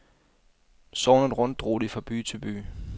Sognet rundt drog de fra by til by.